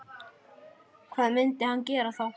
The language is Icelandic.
Hvað myndi hann gera þá?